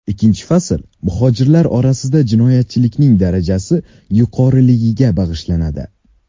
Ikkinchi fasl muhojirlar orasida jinoyatchilikning darajasi yuqoriligiga bag‘ishlanadi.